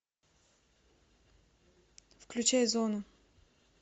включай зона